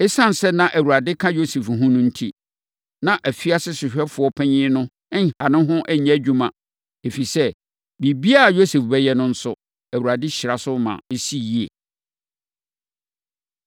Esiane sɛ na Awurade ka Yosef ho no enti, na afiase sohwɛfoɔ panin no nha ne ho nyɛ adwuma. Ɛfiri sɛ, biribiara a Yosef bɛyɛ no nso, Awurade hyira so ma ɛsi yie.